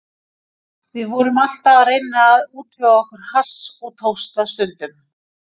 Við vorum alltaf að reyna að útvega okkur hass og tókst það stundum.